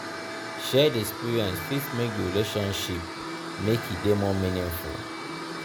shared experiences fit make di relationship make e dey more meaningful.